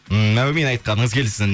ммм әумин айтқаныңыз келсін